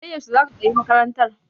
Sai yaushe za ka sayi makarantar?